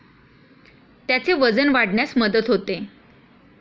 त्याचे वजन वाढण्यास मदत होते.